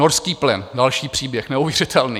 Norský plyn - další příběh, neuvěřitelný.